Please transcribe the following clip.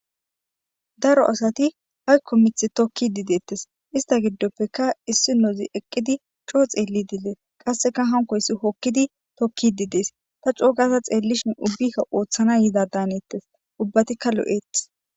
Daro asati ayko mithi tokidi deetes ista gidopeka issinozi eqidi coo xelidi des qaseka hankoysi hokidi tokishe dees ta co gada xelishin ubbika oothana yoda daanetes ubatika lo'etes